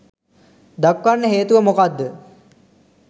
දක්වන්න හේතුව මොකක්ද?